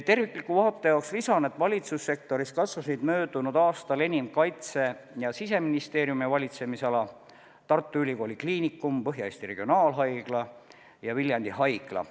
Tervikliku vaate jaoks lisan, et valitsussektoris kasvasid möödunud aastal personali poolest enim kaitse- ja siseministeeriumi valitsemisala, Tartu Ülikooli Kliinikum, Põhja-Eesti Regionaalhaigla ja Viljandi Haigla.